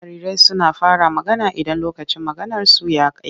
Jarirai suna fara magana idan lokacin maganarsu ya kai.